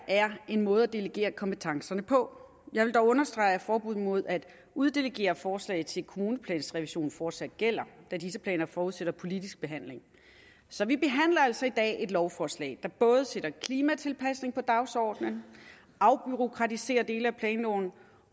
er en måde at delegere kompetencerne på jeg vil dog understrege at forbuddet mod at uddelegere forslag til kommuneplansrevision fortsat gælder da disse planer forudsætter politisk behandling så vi behandler altså i dag et lovforslag der både sætter klimatilpasning på dagsordenen afbureaukratiserer dele af planloven